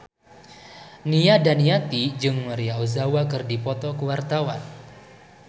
Nia Daniati jeung Maria Ozawa keur dipoto ku wartawan